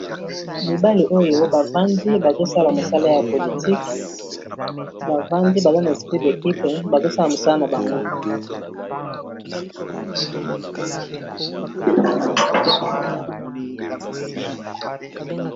Mibali oyo bavandi bazosala mosala ya politique bavandi baza na esprit d'equipe bazosala mosala na bango